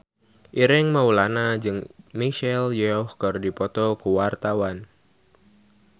Ireng Maulana jeung Michelle Yeoh keur dipoto ku wartawan